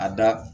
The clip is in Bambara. A da